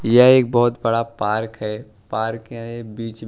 यह एक बहुत बड़ा पार्क है पार्क के बीच मे --